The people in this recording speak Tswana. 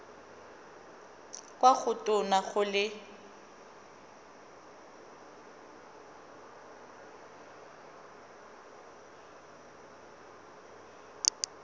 kwa go tona go le